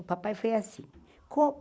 O papai foi assim.